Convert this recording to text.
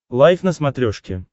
лайф на смотрешке